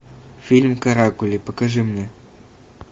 фильм каракули покажи мне